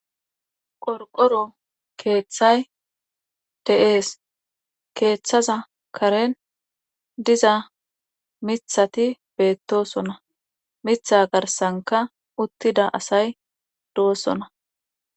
qorqoro keeththay de7ees keeththaza karen diza mithati beettosona mitha garsanka uttida asay doosona